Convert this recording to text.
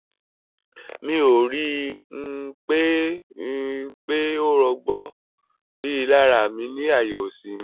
mi ò rí i um pé i um pé ó rọ́gbọ́n rí lára mi ní àyà òsì mi